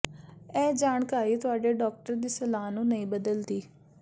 ਇਹ ਜਾਣਕਾਰੀ ਤੁਹਾਡੇ ਡਾਕਟਰ ਦੀ ਸਲਾਹ ਨੂੰ ਨਹੀਂ ਬਦਲਦੀ